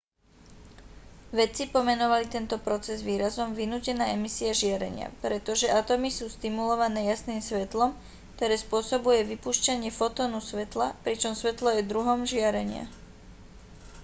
vedci pomenovali tento proces výrazom vynútená emisia žiarenia pretože atómy sú stimulované jasným svetlom ktoré spôsobuje vypúšťanie fotónu svetla pričom svetlo je druhom žiarenia